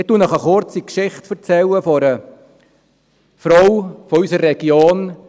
Ich erzähle Ihnen eine kurze Geschichte von einer Frau aus unserer Region: